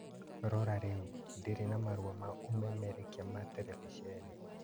Rora rĩu, ndirĩ na marũa ma ũmemerekia ma terebiceni